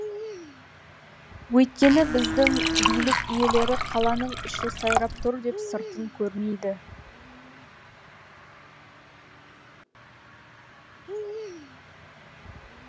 өйткені біздің билік иелері қаланың іші сайрап тұр деп сыртын көрмейді